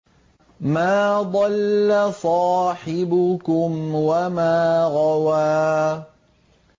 مَا ضَلَّ صَاحِبُكُمْ وَمَا غَوَىٰ